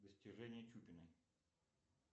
достижения чупина